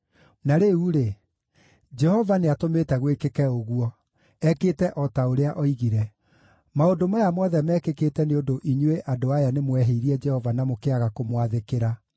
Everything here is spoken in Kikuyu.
Na rĩu-rĩ, Jehova nĩatũmĩte gwĩkĩke ũguo; ekĩte o ta ũrĩa oigire. Maũndũ maya mothe meekĩkĩte nĩ ũndũ inyuĩ andũ aya nĩmwehĩirie Jehova na mũkĩaga kũmwathĩkĩra.